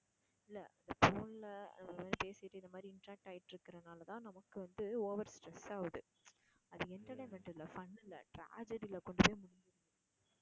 இல்ல phone ல பேசிட்டு இந்த மாதிரி interact ஆயிட்டு இருக்குறதுனால தான் நமக்கு வந்து over stress ஆகுது அது entertainment இல்ல fun இல்ல tragedy ல கொண்டு போய் முடிஞ்சுறுது.